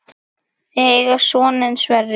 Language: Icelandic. Þau eiga soninn Sverri.